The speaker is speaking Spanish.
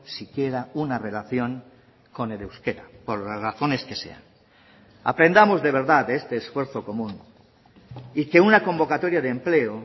si quiera una relación con el euskera por las razones que sean aprendamos de verdad de este esfuerzo común y que una convocatoria de empleo